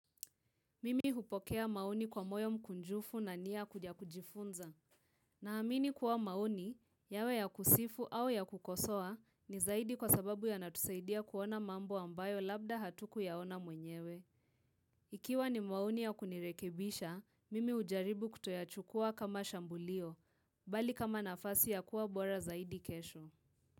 Mimi hupokea maoni kwa moyo mkunjufu na nia kuja kujifunza. Naamini kuwa maoni, yawe ya kusifu au ya kukosoa, ni zaidi kwa sababu yanatusaidia kuona mambo ambayo labda hatukuyaona mwenyewe. Ikiwa ni maoni ya kunirekebisha, mimi hujaribu kutoyachukua kama shambulio, bali kama nafasi ya kuwa bora zaidi kesho.